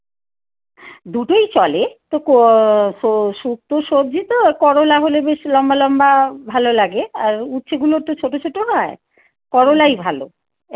দুটোই চলে তো শুক্তো সবজি তো আর করলা হলে বেশি লম্বা লম্বা ভালো লাগে আর উচ্ছে গুলো তো ছোট ছোট হয় করলাই ভালো